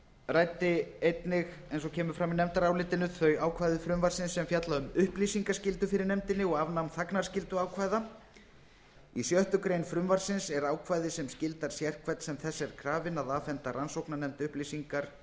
ræddi einnig eins og kemur fram í nefndarálitinu þau ákvæði frumvarpsins sem fjalla um upplýsingaskyldu fyrir nefndinni og afnám þagnarskylduákvæða í sjöttu greinar frumvarpsins er ákvæði sem skyldar sérhvern sem þess er krafinn að afhenda rannsóknarnefnd upplýsingar